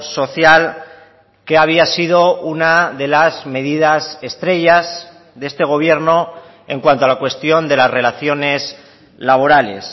social que había sido una de las medidas estrellas de este gobierno en cuanto a la cuestión de las relaciones laborales